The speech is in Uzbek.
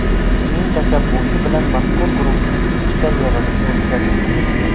Uning tashabbusi bilan mazkur guruhning ikkita yig‘ilishi o‘tkazildi.